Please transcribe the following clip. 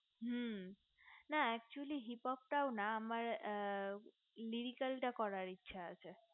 হু না accholy hippo টাও আমার radical করার ইচ্ছা আছে